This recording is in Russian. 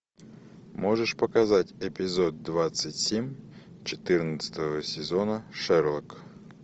можешь показать эпизод двадцать семь четырнадцатого сезона шерлок